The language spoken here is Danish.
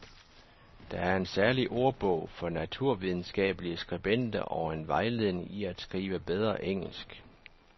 Der er en særlig ordbog for naturvidenskabelige skribenter og en vejledning i at skrive bedre engelsk.